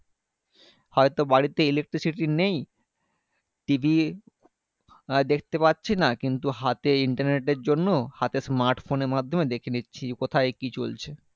electricity নেই TV দেখতে পারছিনা কিন্তু হাতে internet এর জন্য হাতে smart phone এর মাধ্যমে দেখে নিচ্ছি কোথায় কি চলছে